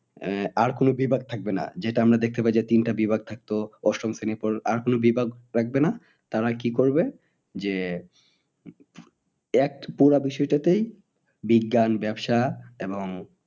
আহ আর কোনো বিভাগ থাকবে না। যেটা আমরা দেখতে পাই যে তিনটা বিভাগ থাকতো অষ্টম শ্রেণীর পর আর কোনো বিভাগ রাখবে না। তারা কি করবে যে এক পুরা বিষয়টাতেই বিজ্ঞান ব্যবসা এবং